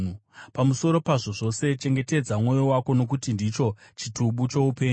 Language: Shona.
Pamusoro pazvo zvose, chengetedza mwoyo wako, nokuti ndicho chitubu choupenyu.